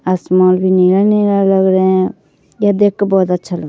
आसमान नीला नीला लग रहा है यह देख कर बहुत अच्छा लग रहा है ।